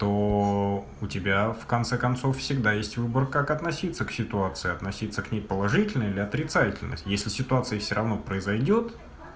то у тебя в конце концов всегда есть выбор как относиться к ситуации относиться к ней положительно или отрицательно если ситуация всё равно произойдёт